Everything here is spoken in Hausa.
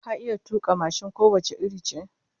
Ka iya tuka mashin ko wace iri ce?